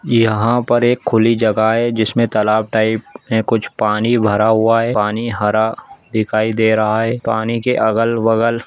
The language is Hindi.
यहाँ पर एक खुल्ली जगह है जिसमे तालाब टाइप में कुछ पानी भरा हुआ है पानी हरा दिखाई दे रहा है पानी के अगल बगल--